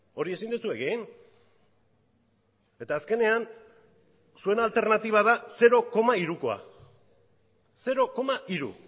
hori ezin duzu egin eta azkenean zuen alternatiba da zero koma hirukoa zero koma hiru